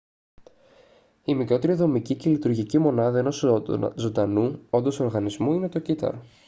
η μικρότερη δομική και λειτουργική μονάδα ενός ζωντανού όντος οργανισμού είναι το κύτταρο